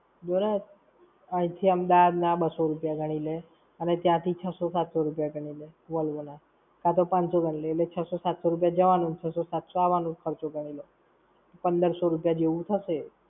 જોને, અઈં થી અમદાવાદ ના બસો રૂપિયા ગણી લે, અને ત્યાંથી છસો-સાતસો રૂપિયા ગણી લે Volvo ના. હાં તો પાનસો ગણી લે, છસો-સાતસો રૂપિયા જવાનું અને છસો-સાતસો આવવાનો ખર્ચો ગણી લે. પંદરસો રૂપિયા જેવું થશે.